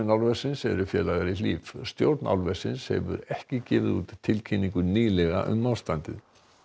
álversins eru félagar í Hlíf stjórn álversins hefur ekki gefið út tilkynningu nýlega um ástandið